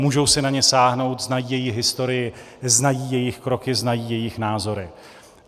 Můžou si na ně sáhnout, znají jejich historii, znají jejich kroky, znají jejich názory.